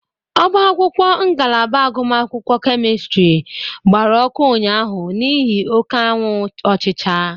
Ọba akwụkwọ ngalaba agụmakwụkwọ Kemịstịrị gbara ọkụ ụnyaahụ niihi oke anwụ ọchịcha.